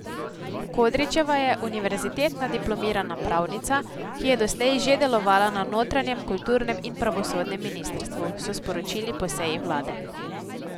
Kodričeva je univerzitetna diplomirana pravnica, ki je doslej že delovala na notranjem, kulturnem in pravosodnem ministrstvu, so sporočili po seji vlade.